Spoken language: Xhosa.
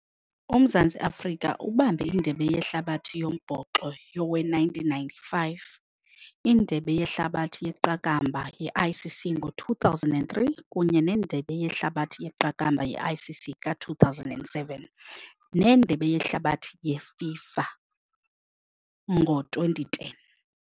UMzantsi Afrika ubambe indebe yehlabathi yombhoxo yowe-nineteen ninety-five, indebe yehlabathi yeqakamba ye-I_C_C ngo-two thousand and three kunye nendebe yehlabathi yeqakamba ye-I_C_C ka-two thousand and seven, nendebe yehlabathi yeFIFA ngo-twenty ten.